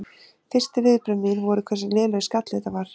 Fyrstu viðbrögð mín voru hversu lélegur skalli þetta var.